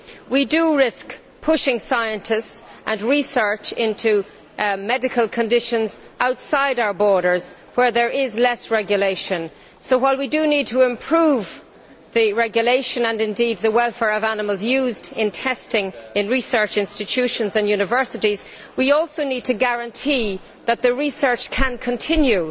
We risk pushing scientists and research into medical conditions outside our borders where there is less regulation, so while we do need to improve the regulation and indeed the welfare of animals used in testing in research institutions and universities, we also need to guarantee that the research can continue.